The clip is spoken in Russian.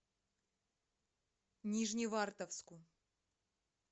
нижневартовску